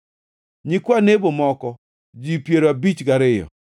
nyikwa Nebo moko, ji piero abich gariyo (52),